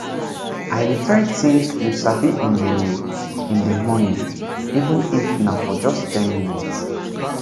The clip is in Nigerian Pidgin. i dey try think you sabi in the in the morning even if na for just ten minute